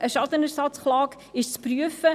Eine Schadenersatzklage ist zu prüfen.